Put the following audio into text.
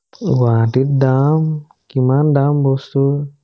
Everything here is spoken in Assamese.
গুৱাহাটীত দাম কিমান দাম বস্তুৰ